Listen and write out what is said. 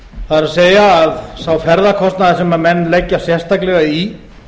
það er að sá ferðakostnaður sem menn leggja sérstaklega í